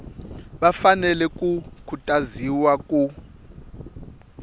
va fanele ku khutaziwa ku